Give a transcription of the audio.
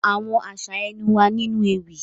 Àwọn aṣa ẹnu wa ninu ewi.